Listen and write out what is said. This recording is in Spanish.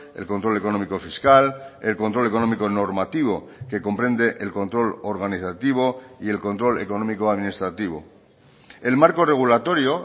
el control económico fiscal el control económico normativo que comprende el control organizativo y el control económico administrativo el marco regulatorio